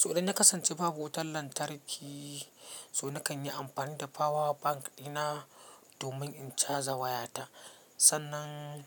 So dai na kasance babu wutar lantarki, so na kan yi amfani da power bank dina domin in caja wayata. Sannan